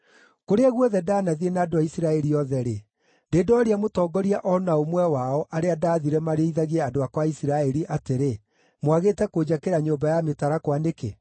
Kũrĩa guothe ndanathiĩ na andũ a Isiraeli othe-rĩ, ndĩ ndooria mũtongoria o na ũmwe wao, arĩa ndaathire marĩithagie andũ akwa a Isiraeli, atĩrĩ, “Mwagĩte kũnjakĩra nyũmba ya mĩtarakwa nĩkĩ?” ’